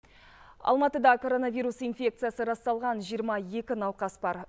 алматыда коронавирус инфекциясы расталған жиырма екі науқас бар